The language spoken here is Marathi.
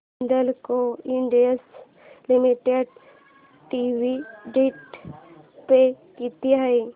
Hindalco industries limited dividend pay किती आहे